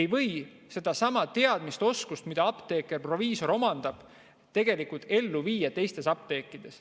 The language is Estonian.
ei või neidsamu teadmisi ja oskusi, mida apteeker, proviisor omab, tegelikult teistes apteekides.